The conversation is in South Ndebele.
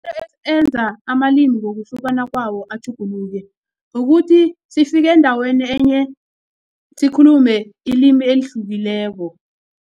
enza amalimi ngokuhlukana kwawo atjhuguluke kukuthi sifike endaweni enye sikhulume ilimi elihlukileko.